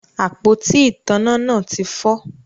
Àpótí ìtanná náà ti fọ